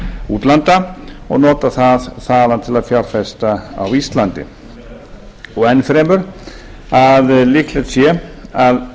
útlanda og notað það þaðan til að fjárfesta á íslandi enn fremur að líklegt sé að